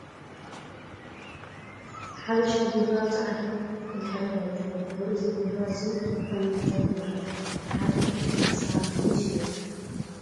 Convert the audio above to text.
ሓበሻ ቢራ ኣብ ፃዕዳ ድሕረ ባይታ ይርከብ ። ኣዚ ቢራ እዙይ ካብ ምንታይ ይምረት ን ሓደ ካሳ ክ ክንደይ ይሽየጥ ?